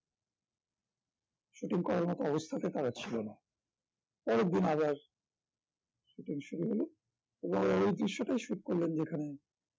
shooting করার মত অবস্থাতে তারা ছিল না তারপরের দিন আবার shooting শুরু হলো এবং ওই দৃশ্যটা shoot করলাম যেখানে